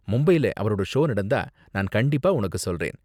மும்பைல அவரோட ஷோ நடந்தா நான் கண்டிப்பா உனக்கு சொல்றேன்.